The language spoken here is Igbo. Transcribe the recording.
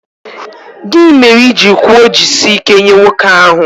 Gị mere i ji kwuo 'jisie ike' nye nwoke ahụ